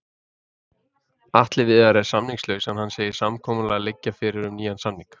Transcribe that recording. Atli Viðar er samningslaus en hann segir samkomulag liggja fyrir um nýjan samning.